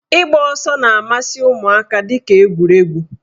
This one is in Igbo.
Ịgba ọsọ na-amasị ụmụaka dịka egwuregwu.